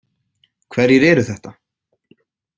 Hverjir eru þetta?